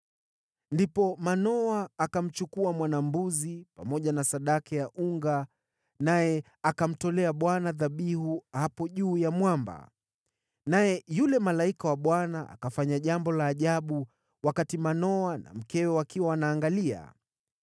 Ndipo Manoa akamchukua mwana-mbuzi, pamoja na sadaka ya unga, naye akamtolea Bwana dhabihu hapo juu ya mwamba. Naye yule malaika wa Bwana akafanya jambo la ajabu wakati Manoa na mkewe wakiwa wanaangalia: